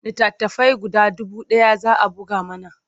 Littattafai guda dubu ɗaya za a buga mana.